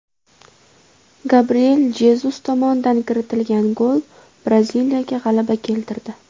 Gabriel Jezus tomonidan kiritilgan gol Braziliyaga g‘alaba keltirdi.